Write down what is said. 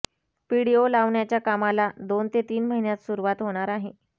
PDO लावण्याच्या कामाला दोन ते तीन महिन्यात सुरुवात होणार आहे